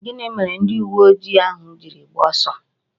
Gini mere ndi uwe ojii ahu jiri gbaa oso?